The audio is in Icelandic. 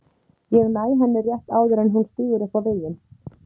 Ég næ henni rétt áður en hún stígur upp á veginn.